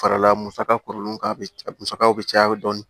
Farala musaka kɔrɔ ka musaka bɛ caya dɔɔni